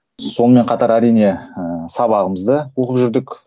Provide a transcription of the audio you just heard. сонымен қатар әрине ыыы сабағымызды оқып жүрдік